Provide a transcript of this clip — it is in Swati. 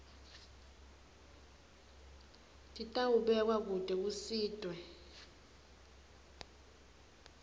titawubekwa kute kusitwe